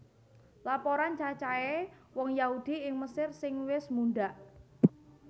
Laporan cacahé wong Yahudi ing Mesir sing wis mundhak